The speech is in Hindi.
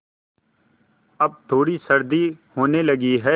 अब थोड़ी सर्दी होने लगी है